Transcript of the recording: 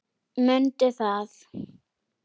Mundu það!